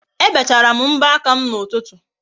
Ebechara m mbọ aka m n'ụtụtụ